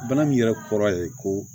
Bana min yɛrɛ kɔrɔ ye ko